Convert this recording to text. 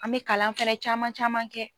An be kalan fɛnɛ caman caman kɛ